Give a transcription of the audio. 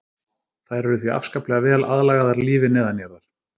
þær eru því afskaplega vel aðlagaðar lífi neðanjarðar